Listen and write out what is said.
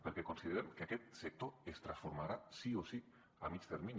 perquè considerem que aquest sector es transformarà sí o sí a mitjà termini